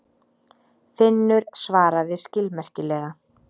Finnur svaraði skilmerkilega.